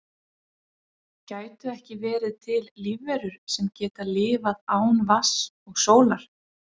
gætu ekki verið til lífverur sem geta lifað án vatns og sólar